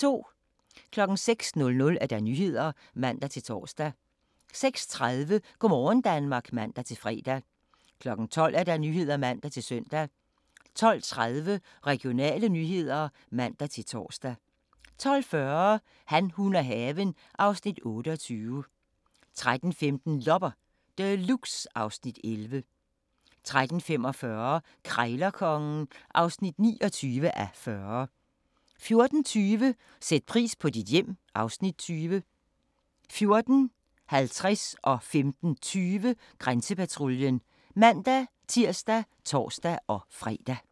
06:00: Nyhederne (man-tor) 06:30: Go' morgen Danmark (man-fre) 12:00: Nyhederne (man-søn) 12:30: Regionale nyheder (man-tor) 12:40: Han, hun og haven (Afs. 28) 13:15: Loppe Deluxe (Afs. 11) 13:45: Krejlerkongen (29:40) 14:20: Sæt pris på dit hjem (Afs. 20) 14:50: Grænsepatruljen (man-tir og tor-fre) 15:20: Grænsepatruljen (man-tir og tor-fre)